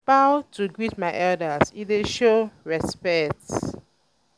i dey bow to greet my elders e dey show respect.